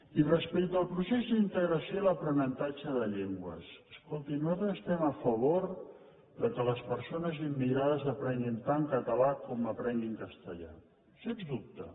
i respecti al procés d’integració i l’aprenentatge de llengües escolti nosaltres estem a favor que les perso·nes immigrades aprenguin tant català com que apren·guin castellà sens dubte